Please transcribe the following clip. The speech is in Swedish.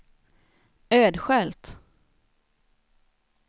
Ödskölt